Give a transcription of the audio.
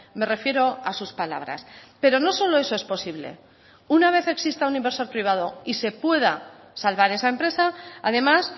me refiero a sus palabras pero no solo eso es posible una vez exista un inversor privado y se pueda salvar esa empresa además